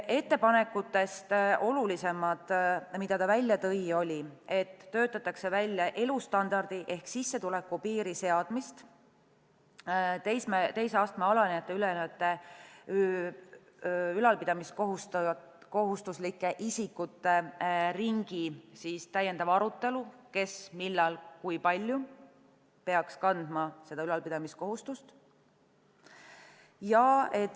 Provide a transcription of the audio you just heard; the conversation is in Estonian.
Ettepanekutest olulisemad, mida ta välja tõi, olid, et töötatakse välja elustandardi ehk sissetuleku piiri seadmist, teise astme alanejate ja ülenejate ülalpidamiskohustuslike isikute ringi puhul on täiendav arutelu, kes, millal ja kui palju peaks seda ülalpidamiskohustust kandma.